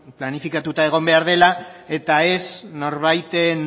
planifikatuta egon behar dela eta ez norbaiten